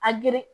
A geren